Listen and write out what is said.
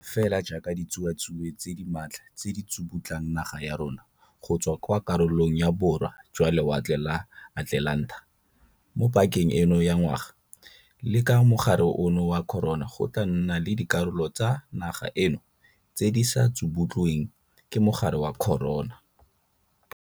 Fela jaaka ditsuatsue tse di maatla tse di tsubutlang naga ya rona go tswa kwa karolong ya Borwa jwa Lewatle la Atlelanta mo pakeng eno ya ngwaga, le ka mogare ono wa corona go tla nna le dikarolo tsa naga eno tse di ka se tsubutlweng ke mogare wa corona.